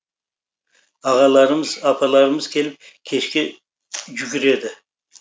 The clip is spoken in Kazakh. ағаларымыз апаларымыз келіп кешке жүгіреді